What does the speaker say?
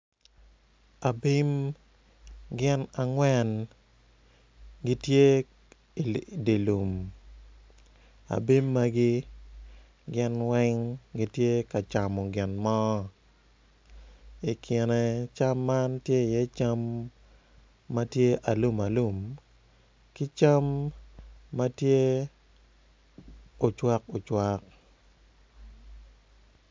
Abim gin angwen gitye i dilum abim magi gin weng gitye ka camo gin mo I kine cam man tye i ye cam matye alum alum kicam matye ocwak ocwak.